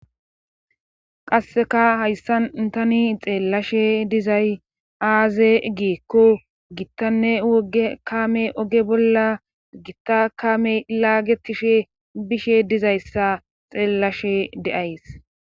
Qasseka hayssan tani xeellashe dizay aaze giekko gittanne woge kaame oge bolla gitta kaame laagetishe bishe dizayssa xeellashe de7ays